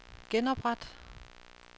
genopret